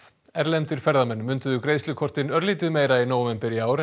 erlendir ferðamenn greiðslukortin örlítið meira í nóvember í ár en